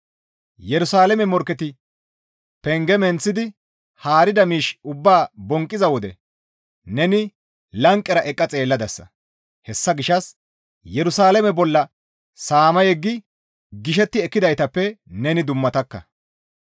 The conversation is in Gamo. Yerusalaame morkketi penge menththidi haarida miish ubbaa bonqqiza wode neni lanqera eqqa xeelladasa; hessa gishshas Yerusalaame bolla saama yeggi gishetti ekkidaytappe neni dummatakka.